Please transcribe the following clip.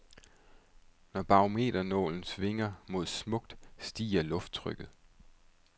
Når barometernålen svinger mod smukt, stiger lufttrykket.